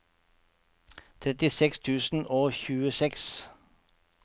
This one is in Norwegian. trettiseks tusen og tjueseks